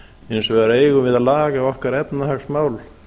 hins vegar eigum við að laga okkar efnahagsmál